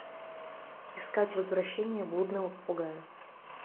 искать возвращение блудного попугая